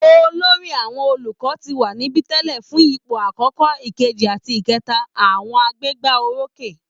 Olórí àwọn olùkọ́ ti wà níbi tẹ́lẹ̀ fún ipò àkọ́kọ́, kejì àti ìkẹta àwọn agbégbá orókè